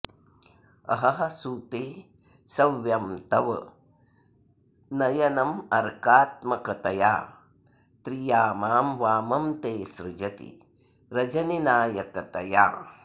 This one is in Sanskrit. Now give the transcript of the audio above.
अहः सूते सव्यं तव नयनमर्कात्मकतया त्रियामां वामं ते सृजति रजनीनायकतया